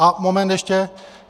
A moment ještě.